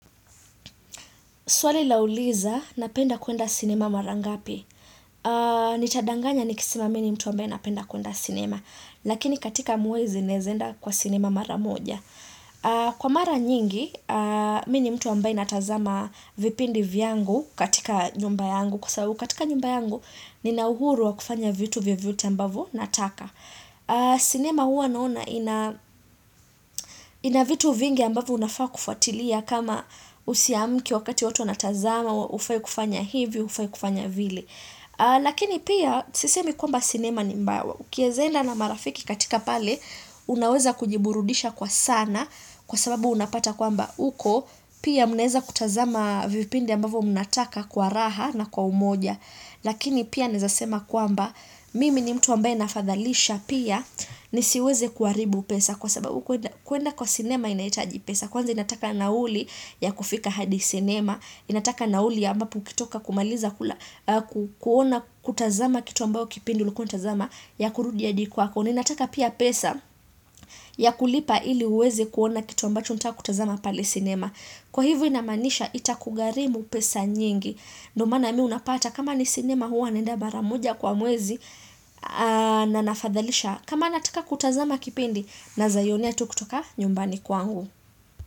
Swali lauliza, napenda kuenda sinema mara ngapi. Nitadanganya nikisema mi ni mtu ambaye napenda kuenda sinema. Lakini katika mwezi naeza enda kwa sinema mara moja. Kwa mara nyingi, mi ni mtu ambaye natazama vipindi vyangu katika nyumba yangu. Kwa sababu katika nyumba yangu, nina uhuru wa kufanya vitu vyovyote ambavyo nataka. Sinema huwa naona ina vitu vingi ambavyo unafaa kufuatilia kama usiamke wakati watu wanatazama, hufai kufanya hivi, hufai kufanya vile. Lakini pia sisemi kwamba sinema ni mbaya. Ukieza enda na marafiki katika pale unaweza kujiburudisha kwa sana kwa sababu unapata kwamba uko pia mnaweza kutazama vipindi ambavyo mnataka kwa raha na kwa umoja. Lakini pia naeza sema kwamba mimi ni mtu ambaye nafadhalisha pia nisiweze kuharibu pesa kwa sababu kuenda kwa sinema inahitaji pesa. Kwanza inataka nauli ya kufika hadi sinema, inataka nauli ya ambapo ukitoka kumaliza kuona kutazama kitu ambayo kipindi ulikuwa unatazama, ya kurudi hadi kwako na inataka pia pesa ya kulipa ili uweze kuona kitu ambacho unataka kutazama pale sinema. Kwa hivyo inamaanisha itakugharimu pesa nyingi. Ndio maana mi unapata kama ni sinema huwa naenda mara moja kwa mwezi, na nafadhalisha, kama nataka kutazama kipindi naeza ionea tu kutoka nyumbani kwangu.